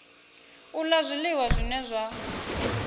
u la zwiliwa zwine zwa